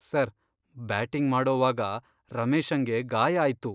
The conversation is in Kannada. ಸರ್, ಬ್ಯಾಟಿಂಗ್ ಮಾಡೋವಾಗ ರಮೇಶಂಗೆ ಗಾಯ ಆಯ್ತು.